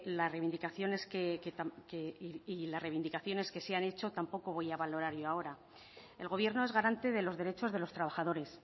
las reivindicaciones que se han hecho tampoco voy a valorar yo ahora el gobierno es garante de los derechos de los trabajadores